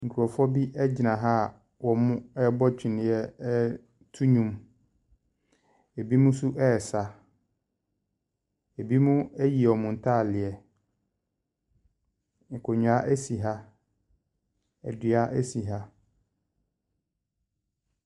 Nkurɔfoɔ bi gyina ha awɔrebɔ twene reto nnwom. Ebinom nso resa. Ebinom ayi wɔn ntadeɛ. Nkonnwa si ha. Dua si ha.